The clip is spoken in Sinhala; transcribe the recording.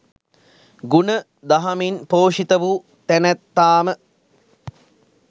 ගුණ දහමින් පෝෂිත වූ තැනැත්තාම